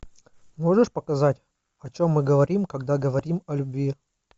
можешь показать о чем мы говорим когда говорим о любви